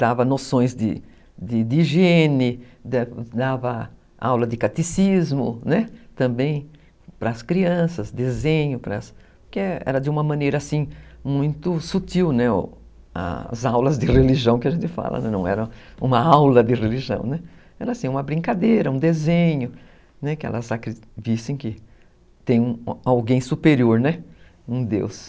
dava noções de de de higiene, dava aula de catecismo, né, também para as crianças, desenho, porque era de uma maneira assim, muito sutil, né, as aulas de religião que a gente fala, não era uma aula de religião, era uma brincadeira, um desenho, que elas vissem que tem alguém superior, né, um deus.